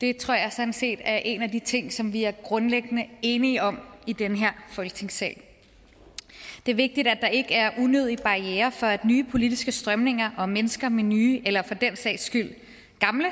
det tror jeg sådan set er en af de ting ting vi er grundlæggende enige om i den her folketingssal det er vigtigt at der ikke er unødige barrierer for at nye politiske strømninger og mennesker med nye eller for den sags skyld gamle